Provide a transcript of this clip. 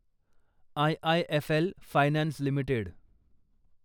IIFL finance limited